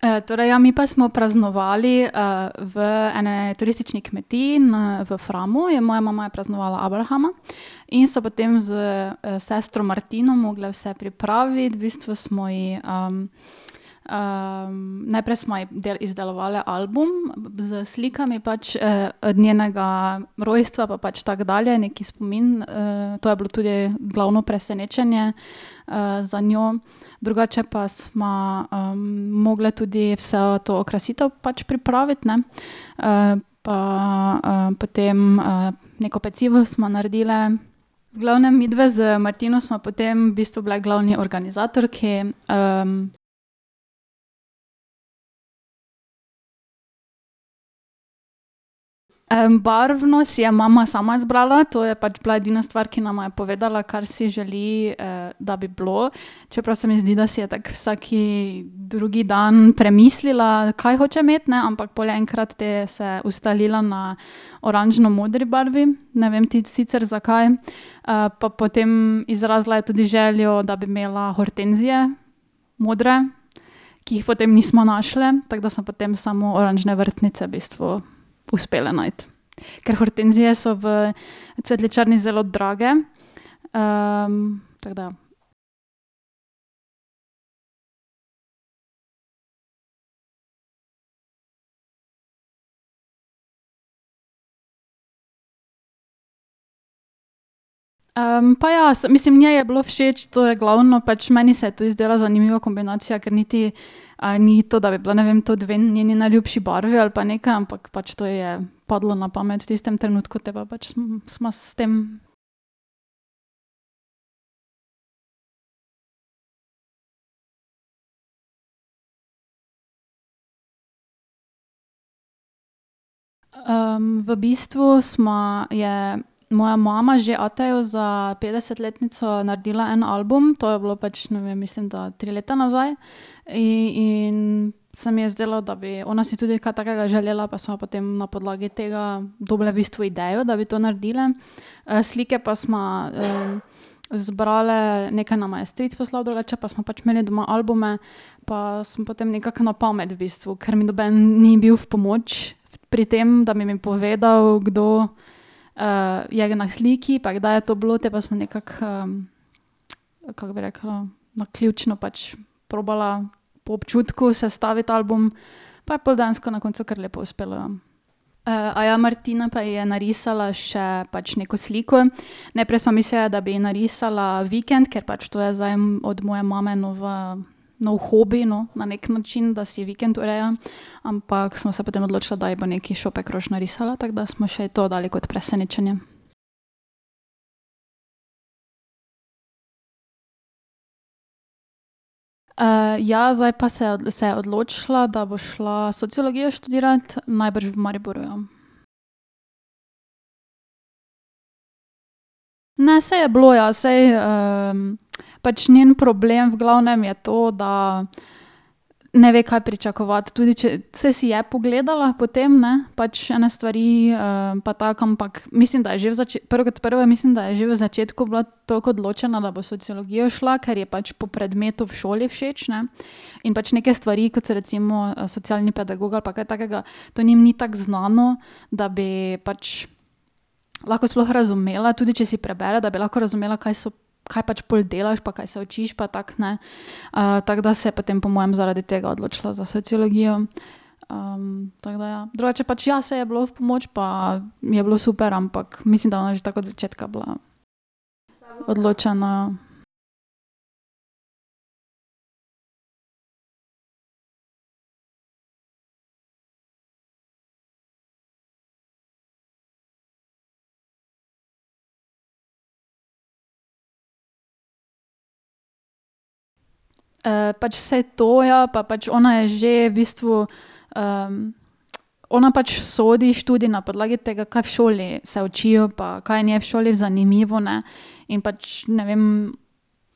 torej, ja, mi pa smo praznovali, v eni turistični kmetiji na v Framu je moja mama je praznovala abrahama. In so potem s, sestro Martino mogle vse pripraviti, v bistvu smo ji, najprej smo ji izdelovale album s slikami pač, od njenega rojstva pa pač tako dalje, neki spomin, to je bilo tudi glavno presenečenje, za njo. Drugače pa sva, mogli tudi vso to okrasitev pač pripraviti, ne, pa, potem, neko pecivo smo naredile. V glavnem midve z Martino sva potem v bistvu bili glavni organizator, ki, ... barvno si je mama sama zbrala, to je pač bila edina stvar, ki nama je pač povedala, kar si želi, da bi bilo, čeprav se mi zdi, da si je tako vsak drugi dan premislila, kaj hoče imeti, ne, ampak pol enkrat te se ustalila na oranžno modri barvi, ne vem ti sicer, zakaj. pa potem izrazila je tudi željo, da bi imela hortenzije modre, ki jih potem nisva našle, tako da smo potem samo oranžne vrtnice v bistvu uspele najti. Ker hortenzije so v cvetličarni zelo drage, tako da ... pa ja, mislim, njej je bilo všeč, to je glavno, pač meni se je tudi zdela zanimiva kombinacija, ker niti, ni to, da bi bili, ne vem, to dve njeni najljubši barvi ali pa nekaj, ampak pač to je padlo na pamet v tistem trenutku, te pa pač sva s tem ... v bistvu sva, je moja mama že atu za petdesetletnico naredila en album. To je bilo pač, ne vem, mislim, da tri leta nazaj in se mi je zdelo, da bi ona si tudi kaj takega želela pa sva potem na podlagi tega dobile v bistvu idejo, da bi to naredile. slike pa sva, zbrale, nekaj nama je stric poslal, drugače pa sva pač imeli doma albume pa sem potem nekako na pamet v bistvu, ker mi noben ni bil v pomoč pri tem, da bi mi povedal, kdo, je na sliki, pa kdaj je to bilo, potem pa smo nekako, kako bi rekla, naključno pač probala po občutku sestaviti album pa je pol dejansko na koncu kar lepo uspelo, ja. Martina pa ji je narisala še pač neko sliko. Najprej sva mislili, da bi ji narisala vikend, ker pač to je zdaj od moje mame nova nov hobi, no, na neki način, da si vikend ureja, ampak sva se potem odločile, da ji bo še neki šopek rož narisala, tako da smo še ji to dali kot presenečenje. ja, zdaj pa se, se je odločila, da bo šla sociologijo študirat, najbrž v Mariboru, ja. Ne, saj je bilo, ja saj, pač njen problem v glavnem je to, da ne ve, kaj pričakovati, tudi če, saj si je pogledala potem, ne, pač ene stvari, pa tako, ampak mislim, da je že v prvo kot prvo mislim, da je že v začetku bila tako odločena, da bo sociologijo šla, ker je pač po predmetu v šoli všeč, ne. In pač neke stvari, kot so recimo socialni pedagog ali pa kaj takega, to njim ni tako znano, da bi pač lahko sploh razumela, tudi če si prebere, da bi lahko razumela, kaj so, kaj pač pol delaš, pa kaj se učiš pa tako, ne. tako da se je potem po moje zaradi tega odločila za sociologijo. tako da, ja, drugače pač, ja, saj je bilo v pomoč, pa mi je bilo super, ampak mislim, da je ona že tako od začetka bila, ja. Odločena, ja. pač saj to je, pa pač ona je že v bistvu, ona pač sodi študij na podlagi tega, kaj v šoli se učijo pa kaj je njej v šoli zanimivo, ne. In pač ne vem,